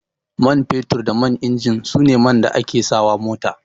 Man fetur da man injin su ne man da ake sa wa mota